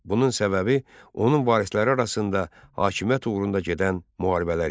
Bunun səbəbi onun varisləri arasında hakimiyyət uğrunda gedən müharibələr idi.